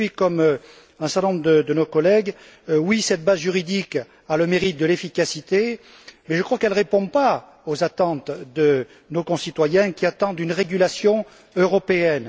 Et je suis du même avis qu'un certain nombre de nos collègues oui cette base juridique a le mérite de l'efficacité, mais je crois qu'elle ne répond pas aux attentes de nos concitoyens, qui souhaitent une régulation européenne.